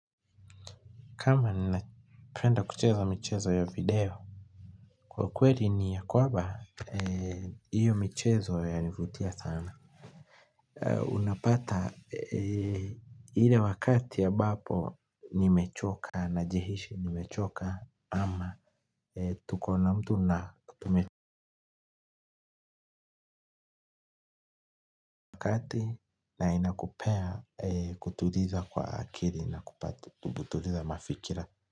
Kama ninapenda kucheza michezo ya video kwa kweli ni ya kwamba hiyo michezo yanivutia sana unapata ile wakati ambapo nimechoka najihisi nimechoka ama tuko na mtu na na inakupea kutuliza kwa akili na kutuliza mafikira.